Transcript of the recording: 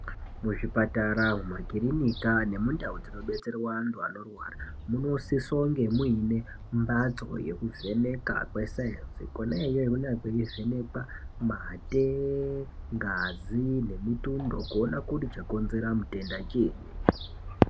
Muzvipatara mumakirinika nemundau dzinobetserwa antu anorwara munosisa kunge muine mbatso yekuvheneka kwesainzi Kona iyoyo kwaivhenekwa matenda ngazi nemutundo kuonekwa chakonzera ngazi chinyi.